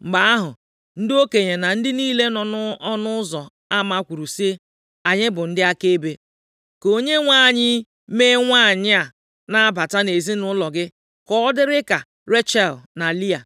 Mgbe ahụ, ndị okenye na ndị niile nọ nʼọnụ ụzọ ama kwuru sị, “Anyị bụ ndị akaebe. Ka Onyenwe anyị mee nwanyị a na-abata nʼezinaụlọ gị ka ọ dịrị ka Rechel na Lịa,